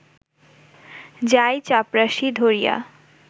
যায়-চাপরাশী ধরিয়া